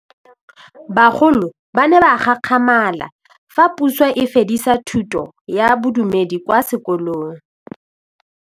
Bagolo ba ne ba gakgamala fa Pusô e fedisa thutô ya Bodumedi kwa dikolong.